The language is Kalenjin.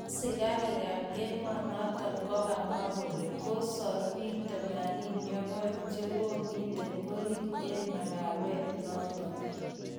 Asikarik kap emonoton kokamwa kole kosor peek 82chekomiten orit eng makawet noton